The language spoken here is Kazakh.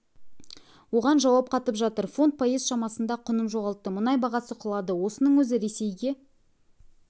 оған жауап қатып жатыр фунт пайыз шамасында құнын жоғалтты мұнай бағасы құлады осының өзі ресейге